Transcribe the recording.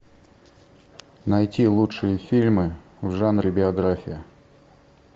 найти лучшие фильмы в жанре биография